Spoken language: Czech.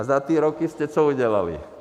A za ty roky jste co udělali?